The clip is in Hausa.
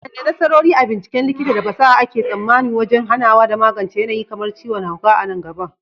Wadanne nasarori a binciken likita da fasaha ake tsammanin wajen hanawa da magance yanayi kamar ciwon hauka a nan gaba?